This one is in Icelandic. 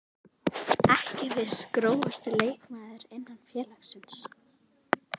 Ekki viss Grófasti leikmaður innan félagsins?